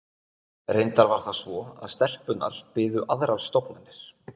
Reyndar var það svo að stelpunnar biðu aðrar stofnanir.